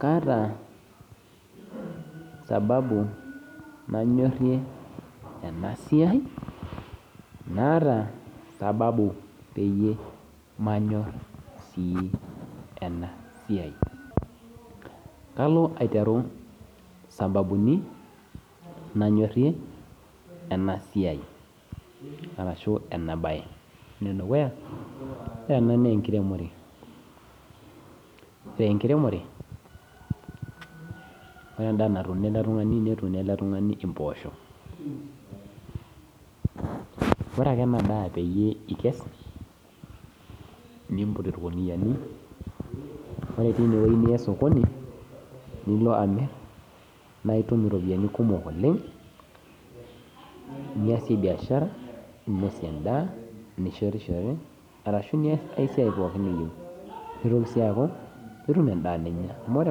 Kaata sababu nanyorie ena siai, naata sababu peyie manyor sii ena siai, kalo aiteru sababuni nanyorie ena siai, ene dukuya naa, ore ena naa enkiremore ore enkiremore, ore endaa natuuno ele tung'ani netuuno ele tung'ani impoosho, ore ake ena daa peyie ikes, nimput ilguniyani, ore teine niya sokoni, nilo aamir naa itum iropiani kumok oleng' niasie biashara, ninosie endaa, nishetishore, arashu niasai siai pooki niyou, neitoki sii aaku itum endaa ninya, amu ore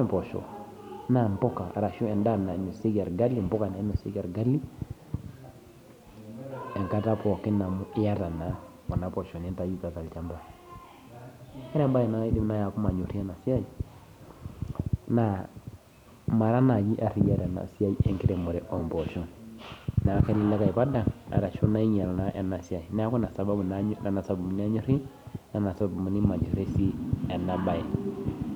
empoosho, naa impuka ashu endaa nanya olgali, impoka nainosieki olgali, enkata pooki amu iata naa Kuna poosho nintayu tolchamba. Ore embaye naaji naaku manyorie ena siai naa mara naaji ariya tena siai enkiremore oo mpooshok, neaku elelek aipadang arashu elelek ainyal ena siai, neaku Ina sababu nanyor o sababuni pemanyorie ena baye.